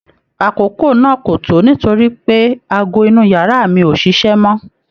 Àkókò náà ko to nítorípé aago inu yàrá mi ò ṣíṣe mọ